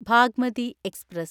Bagmati express